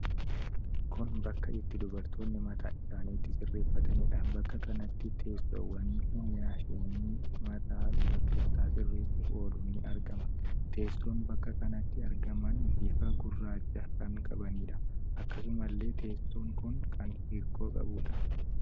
Kun bakka itti dubartoonni mataa isaanii itti sirreeffataniidha. Bakka kanatti teessowwani fi maashinni mataa dubartootaa sirreessuf oolu ni argama. Teessoon bakka kanatti argaman bifa gurraacha kan qabaniidha. Akkasumallee teesson kun kan hirkoo qabuudha.